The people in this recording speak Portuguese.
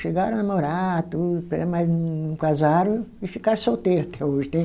Chegaram a namorar, tudo, mas não casaram e ficaram solteiro até hoje né